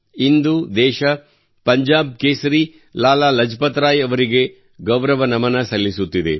ಇಂದು ದೇಶ ಪಂಜಾಬ್ ಕೇಸರಿ ಲಾಲಾ ಲಜಪತ್ ರಾಯ್ ಅವರಿಗೆ ಗೌರವ ನಮನ ಸಲ್ಲಿಸುತ್ತಿದೆ